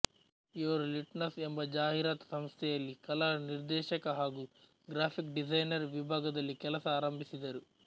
ಇವರು ಲಿನ್ಟಸ್ ಎಂಬ ಜಾಹೀರಾತು ಸಂಸ್ಥೆಯಲ್ಲಿ ಕಲಾ ನಿರ್ದೇಶಕ ಹಾಗೂ ಗ್ರಾಫಿಕ್ ಡಿಸೈನರ್ ವಿಭಾಗದಲ್ಲಿ ಕೆಲಸ ಆರಂಭಿಸಿದರು